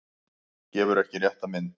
Gefur ekki rétta mynd